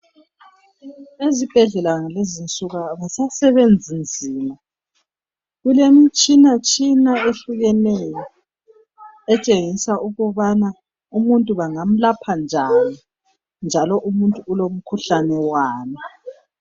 Ezibhedlela ngalenzi insuku abasasebenzi nzima. Kulemitshina tshina ehlukeneyo etshengisa ukubana umuntu bangam'ulapha njani ,njalo umuntu ulomkhuhlane wani.